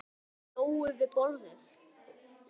Lóu við borðið.